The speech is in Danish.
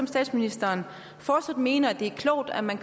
statsministeren fortsat mener det er klogt at man